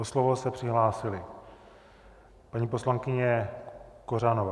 O slovo se přihlásila paní poslankyně Kořanová.